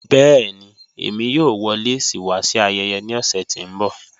Bẹ̀ẹ̀ni, èmi yóò wọ̀ lẹ́sí wa sí ayẹyẹ ní ọṣẹ̀ tí n bọ̀.